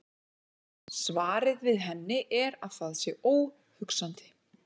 Svarið við henni er að það sé óhugsandi.